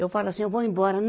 Eu falo assim, eu vou embora.